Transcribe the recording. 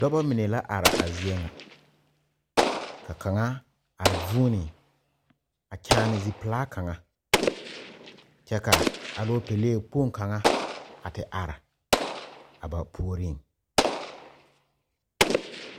Dɔba mine la are a zie ŋa ka kaŋa a vuuni a kyaane zipelaa kaŋa kyɛ ka alopelee kpoŋ kaŋa a te are a ba puoriŋ.